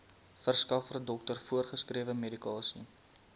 verskaffer dokter voorgeskrewemedikasie